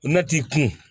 Mɛ t'i kun